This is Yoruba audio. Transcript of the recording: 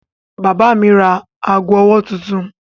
Bàbá mi ra ago-ọwọ́ tuntun.